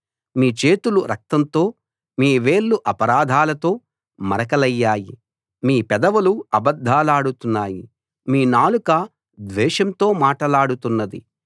మీ చేతులు రక్తంతో మీ వేళ్లు అపరాధాలతో మరకలయ్యాయి మీ పెదవులు అబద్ధాలాడుతున్నాయి మీ నాలుక ద్వేషంతో మాటలాడుతున్నది